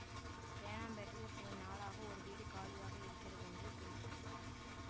தேனாம்பேட்டையில் சில நாளாக ஒரு வீடு காலியாக இருக்கிறதென்று கேள்விப்பட்டார்